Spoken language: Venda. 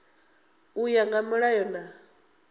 u ya nga milayo na